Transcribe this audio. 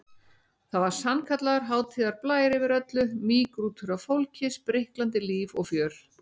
Það var sannkallaður hátíðarblær yfir öllu, mýgrútur af fólki, spriklandi líf og fjör.